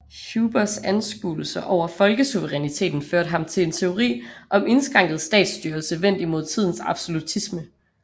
Hubers anskuelser over folkesuveræniteten førte ham til en teori om indskrænket statsstyrelse vendt imod tidens absolutisme